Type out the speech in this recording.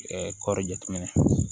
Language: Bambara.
kɔɔri jateminɛ